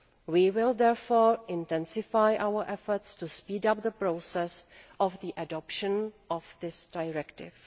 We will therefore intensify our efforts to speed up the process of the adoption of this directive.